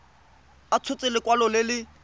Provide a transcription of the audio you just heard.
a tshotse lekwalo le le